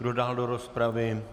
Kdo dál do rozpravy?